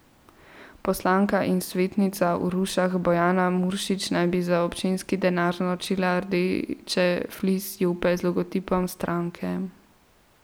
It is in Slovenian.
Poslanka in svetnica v Rušah Bojana Muršič naj bi za občinski denar naročila rdeče flis jope z logotipom stranke.